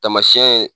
Tamasiyɛn ye